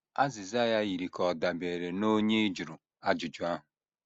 Azịza ya yiri ka ọ dabeere n’onye ị jụrụ ajụjụ ahụ.